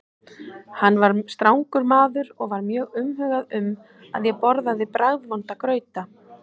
Hann var strangur maður og var mjög umhugað um að ég borðaði bragðvonda grauta.